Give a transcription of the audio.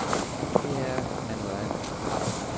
Det her er noget andet.